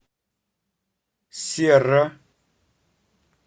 серра